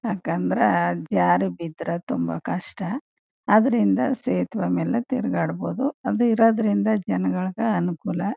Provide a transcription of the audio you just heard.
ಯಾಕಂದ್ರೆ ಜಾರಿ ಬಿದ್ರೆ ತುಂಬಾ ಕಷ್ಟ ಅದ್ರಿಂದ ಸೇತುವೆ ಮೇಲೆ ತಿರ್ಗಾಡಬಹುದು ಅದು ಇರೋದ್ರಿಂದ ಜನಗಳಿಗೆ ಅನುಕೂಲ.